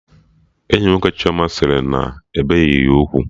Enyi nwoke Chioma sị na-ebeghị ya ugwu